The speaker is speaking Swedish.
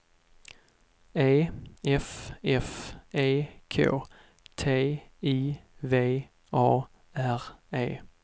E F F E K T I V A R E